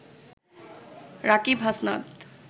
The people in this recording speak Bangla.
রাকিব হাসনাত